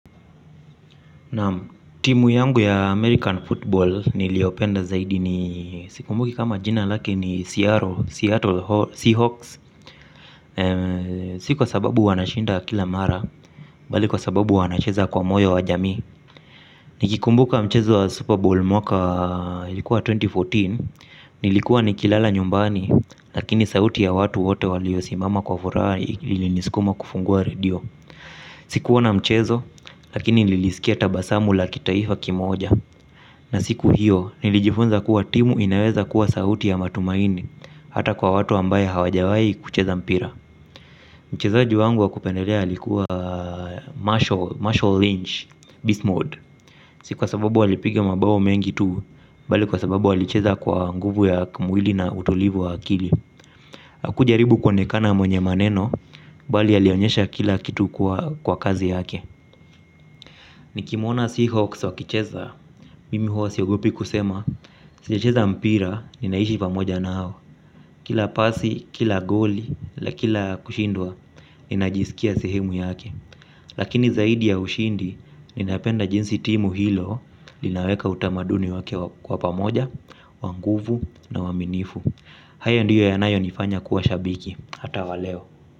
Naam timu yangu ya American Football niliyopenda zaidi ni sikumbuki kama jina lake ni Seattle Seahawks. Sikwa sababu wanashinda kila mara bali kwa sababu wanacheza kwa moyo wa jamii. Nikikumbuka mchezo wa Super Bowl mwaka ilikuwa elfu mbili na kumi na nne. Nilikuwa nikilala nyumbani lakini sauti ya watu wote waliosimama kwa furaha ilinisukuma kufungua radio. Sikuona mchezo lakini nilisikia tabasamu la kitaifa kimoja. Na siku hiyo, nilijifunza kuwa timu inaweza kuwa sauti ya matumaini. Hata kwa watu ambaye hawajawai kucheza mpira. Mchezaji wangu wakupendelea alikuwa Marshall Lynch, Bismord. Sikwa sababu ali piga mabao mengi tu. Bali kwa sababu ali cheza kwa nguvu ya kimwili na utulivu wa akili haku jaribu kuonekana mwenye maneno. Bali alionyesha kila kitu kwa kazi yake. Nikimwona Seahawks wakicheza mimi huwa siogopi kusema. Sijecheza mpira, ninaishi pamoja nao. Kila pasi, kila goli, la kila kushindwa. Ninajisikia sehemu yake. Lakini zaidi ya ushindi, ninapenda jinsi timu hilo linaweka utamaduni wakewa kuwa pamoja, wanguvu na uwaminifu. Hayo ndiyo yanayo nifanya kuwa shabiki, hata waleo.